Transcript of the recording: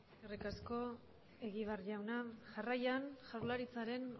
eskerrik asko egibar jauna jarraian jaurlaritzaren